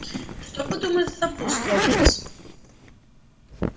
что подумает златопуст локонс